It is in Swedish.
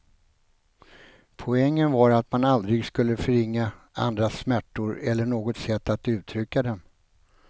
Poängen var att man aldrig skulle förringa andras smärtor eller något sätt att uttrycka dem.